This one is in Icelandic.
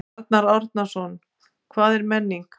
Arnar Árnason: Hvað er menning?